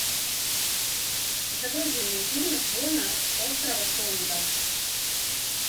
загрузи мне фильм джона с острова тонга